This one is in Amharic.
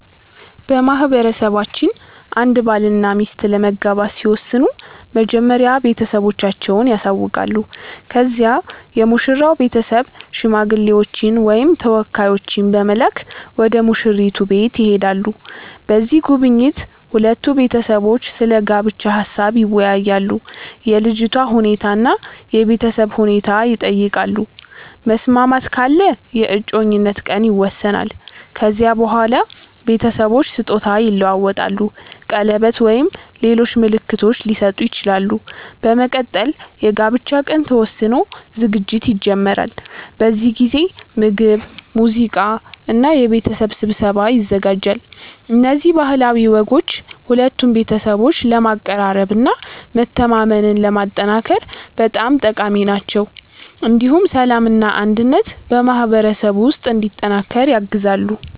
በማህበረሰባችን አንድ ባልና ሚስት ለመጋባት ሲወስኑ መጀመሪያ ቤተሰቦቻቸውን ያሳውቃሉ። ከዚያ የሙሽራው ቤተሰብ ሽማግሌዎችን ወይም ተወካዮችን በመላክ ወደ ሙሽራይቱ ቤት ይሄዳሉ። በዚህ ጉብኝት ሁለቱ ቤተሰቦች ስለ ጋብቻ ሀሳብ ይወያያሉ፣ የልጅቷ ሁኔታ እና የቤተሰብ ሁኔታ ይጠየቃሉ። መስማማት ካለ የእጮኝነት ቀን ይወሰናል። ከዚያ በኋላ ቤተሰቦች ስጦታ ይለዋወጣሉ፣ ቀለበት ወይም ሌሎች ምልክቶች ሊሰጡ ይችላሉ። በመቀጠል የጋብቻ ቀን ተወስኖ ዝግጅት ይጀመራል። በዚህ ጊዜ ምግብ፣ ሙዚቃ እና የቤተሰብ ስብሰባ ይዘጋጃል። እነዚህ ባህላዊ ወጎች ሁለቱን ቤተሰቦች ለማቀራረብ እና መተማመንን ለማጠናከር በጣም ጠቃሚ ናቸው። እንዲሁም ሰላምና አንድነት በማህበረሰቡ ውስጥ እንዲጠናከር ያግዛሉ።